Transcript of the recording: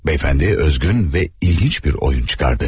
Bəyəfəndi özgün və ilginc bir oyun çıxardı.